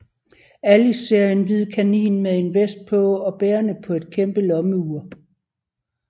Alice ser en hvid kanin med en vest på og bærende på et kæmpe lommeur